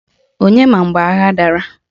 Onye mara mgbe agha a dara?